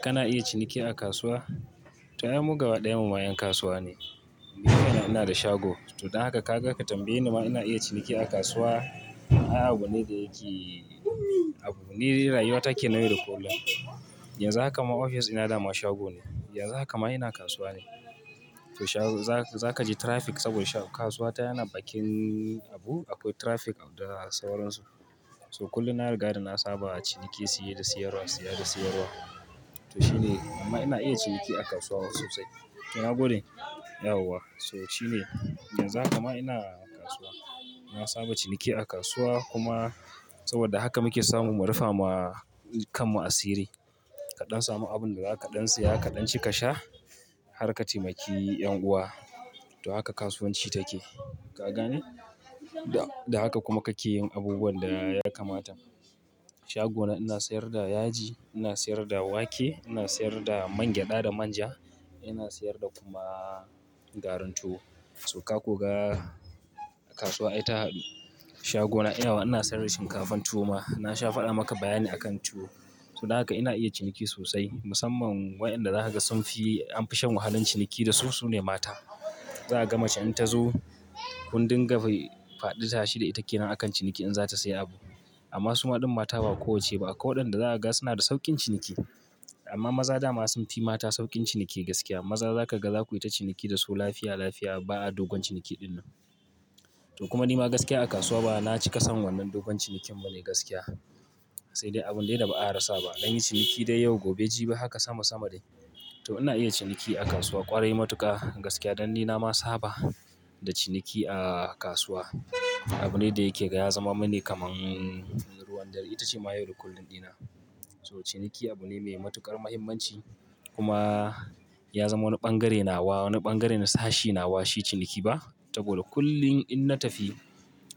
Kana iya ciniki a kasuwa? To, ai mu gaba ɗayan mu ma 'yan kasuwa ne. Ni kaina ina da shago. To don haka ka ga ka tambaye ni ma ina iya ciniki a kasuwa. Ai abu ne da yake abu ne da rayuwa take nan yau da kullum. Yanzu haka ma ofis ina da ma shago ne. Yanzu haka ma ina kasuwa ne. To shago-- za ka ji traffic saboda kasuwa ta yana bakin abu. Akwai traffic da sauransu. So kullum na riga da na saba a ciniki, siye da siyarwa, siya da siyarwa. To shine amma ina iya ciniki a kasuwa sosai. To na gode? Yauwa. So shine yanzu haka ma ina kasuwa. Na saba ciniki a kasuwa kuma saboda haka muke samu mu rufa ma kanmu asiri. Kaɗan samu abun da zaka dan siya kaɗan cika sha har ka taimaki 'yan uwa. To haka kasuwanci take. Ka gane? Da haka kuma kake yin abubuwan da ya kamata. Shagona ina sayar da yaji, ina sayar da wake, ina sayar da mangyaɗa da manja. Ina sayar da kuma garin tuwo. So ka kuga a kasuwa aita haɗu shagona ina ana sayar da shinkafan tuwo ma. Na sha faɗa maka bayani akan tuwo. To don haka ina iya ciniki sosai. Musamman wayanda zaka ga sun fi-- an fi shan wahalan ciniki da su sune mata. Zaa gama ce in ta zo kundin gaba faɗi tashi da ita ke nan a kan ciniki in zata sayi abu. Amma suma ɗin mata ba kowacce ba. Akwai waɗanda zaka ga suna da sauƙin ciniki. Amma maza da ma sun fi mata sauƙin ciniki gaskiya. Maza za ka ga za ku yi ta ciniki da su lafiya lafiya. Ba a dogon ciniki dinnan. To kuma ni ma gaskiya a kasuwa ba na ci ƙasan wannan dogon cinikin bane gaskiya. Sai dai abun dai da ba a rasa ba. Anyi ciniki dai yau gobe jibi haka sama sama dai. To ina iya ciniki a kasuwa ƙwarai matuka. Gaskiya dan ni na ma saba da ciniki a kasuwa. Abu ne da yake ya zama mani kamar ruwan dare. Ita ce ma yau da kullum ɗina. To ciniki abu ne mai matuƙar mahimmanci. Kuma ya zama wani ɓangare nawa, wani ɓangare na sashi nawa. Shi ciniki ba? Saboda kullum in na tafi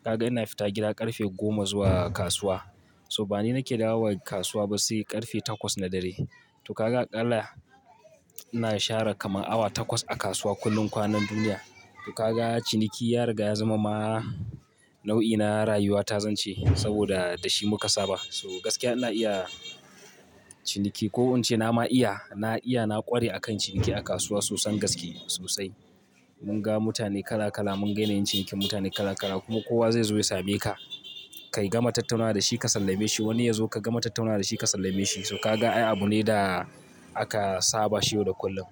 ka ga ina fita gida ƙarfe goma zuwa kasuwa. So ba ni nake dawowa ƙasuwa ba sai ƙarfe takwas na dare. To ka ga aƙalla ina share kamar awa takwas a kasuwa kullum kwanan duniya. To ka ga ciniki ya riga ya zama ma nau'ina rayuwa ta zance saboda da shi muka saba. So gaskiya ina iya ciniki. Ko in ce na ma iya, na iya na ƙware a kan ciniki a kasuwa sosan gaske sosai. Mun ga mutane kala kala, mun gayana yin cinikin mutane kala kala kuma kowa zai zo ya same ka. Kai gama tattaunawa da shi ka sallame shi. Wani ya zo ka gama tattaunawa da shi ka sallame shi. To ka ga ai abu ne da aka saba shi yau da kullum.